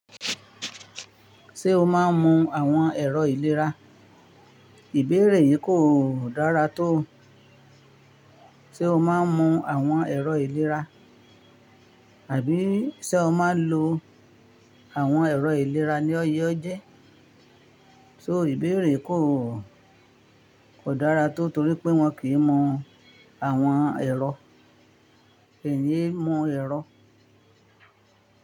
Ṣé o máa ń mu àwọn ẹ̀rọ ìlera? Ìbéèrè yìí kò–dára tó. Sé o máa ń mu àwọn ẹ̀rọ ìlera, àbí sé o máa ń lo àwọn ẹ̀rọ ìlera ní ọyẹ́ ọjẹ́? So ìbéèrè kò–kò dára tó torí pé wọ́n kì í mu àwọn ẹ̀rọ. Èyí mu ẹ̀rọ.